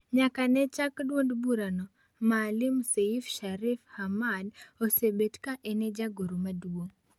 Nyaka ne chak duond burano Maalim Seif Sharif Hamad, osebet ka en e jagoro madongo.